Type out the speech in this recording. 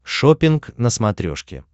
шоппинг на смотрешке